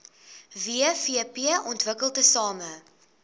wvp ontwikkel tesame